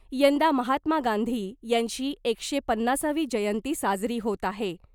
यंदा महात्मा गांधी यांची एकशे पन्नासावी जयंती साजरी होत आहे .